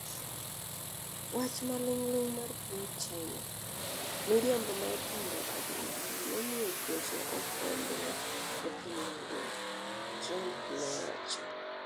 wach maling'ling' mar piny China, miriambo mar pando adiera nomiyo tuoche ofwambre e piny mangima,'Trump nowacho